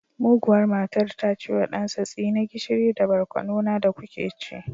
Muguwar matar ta ce wa ɗansa tsine gishiri da barkono na da kuke ci